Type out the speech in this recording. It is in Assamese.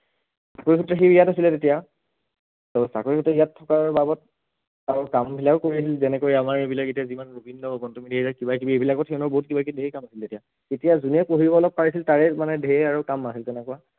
চাকৰিসূত্ৰে সি ইয়াত আছিলে তেতিয়া আৰু চাকৰিসূত্ৰে ইয়াত থকাৰ বাবত আৰু কাম বিলাকো কৰিছিল যেনেকৈ আমাৰ এইবিলাক এতিয়া যিমান গোবিন্দ, গৌতম কিবাকিবি এইবিলাকো থাকে বহুত কিবাকিবি ধেৰ কাম আছিলে তেতিয়া, তেতিয়া যোনে পঢ়িব অলপ পাৰিছিল তাৰে মানে ধেৰ আৰু কাম বাঢ়ে তেনেকুৱা